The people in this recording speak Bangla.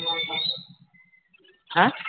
হ্যাঁ